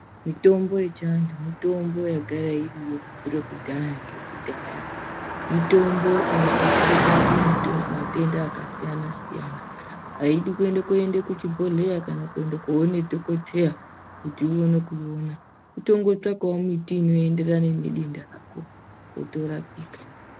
Mitombo yechiantu mitombo yagara iriyo kubvira kudhaya nekudhaya mitombo inobatsire kurapa matenda akasiyana siyana haidi kuenda kuchibhedhlera kana koone dhogodheya kuti uone kuiona, kutongotsvakewo muti unoenderana nedenda rako kuti uone kurapika.